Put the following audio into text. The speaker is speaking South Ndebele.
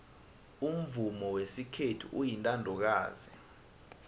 umvumo wesikhethu uyintandokazi